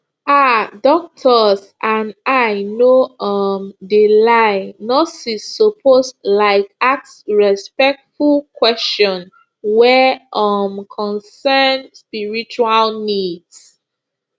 um doctors and i no um de lie nurses suppose laik ask respectful kweshion wey um concern spiritual needs